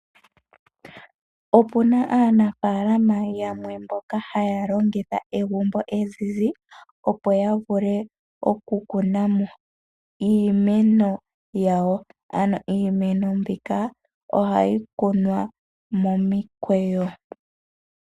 Opuna aanamapya yamwe mboka haya longitha egumbo ezizi, opo ya vule oku kuna iimeno yawo. Iimeno mbika ohayi kunwa momikweyo.